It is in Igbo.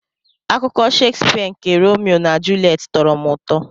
Akụkọ Shakespeare nke Romeo na Juliet tọrọ m ụtọ.